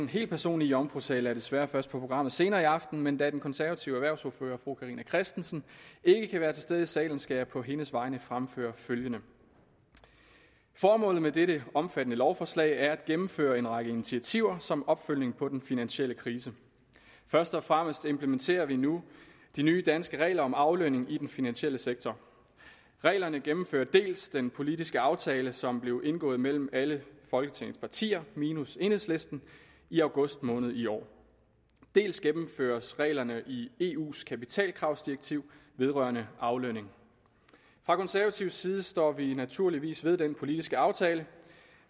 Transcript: helt personlige jomfrutale er desværre først på programmet senere i aften men da den konservative erhvervsordfører fru carina christensen ikke kan være til stede i salen skal jeg på hendes vegne fremføre følgende formålet med dette omfattende lovforslag er at gennemføre en række initiativer som opfølgning på den finansielle krise først og fremmest implementerer vi nu de nye danske regler om aflønning i den finansielle sektor reglerne gennemfører dels den politiske aftale som blev indgået mellem alle folketingets partier minus enhedslisten i august måned i år dels gennemføres reglerne i eus kapitalkravsdirektiv vedrørende aflønning fra konservativ side står vi naturligvis ved den politiske aftale